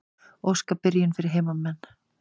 Óska byrjun fyrir heimamenn.